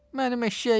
Mənim eşşəyimi!